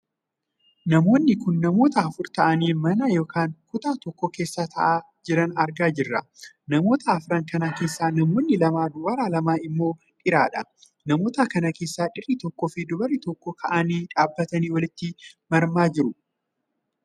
Namoonni kun namoota afur taa'anii mana ykn kutaa tokko keessa taa'aa jiran argaa jirra. namoota arfan kana keessaa namoonni lama dubaraa lama immoo dhiiradha. namoota kana keessaa dhiirri tokkoo fi dubarris tokko kaa'anii dhaabbatanii walitti marmaa jiru.